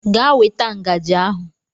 Gaa weta ngaji ahụ.